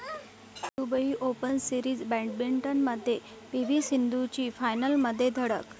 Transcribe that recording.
Dubai Open series बॅटमिंटनमध्ये PV सिंधूची फायनलमध्ये धडक